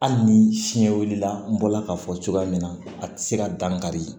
Hali ni siɲɛ wulila n bɔla k'a fɔ cogoya min na a tɛ se ka dan kari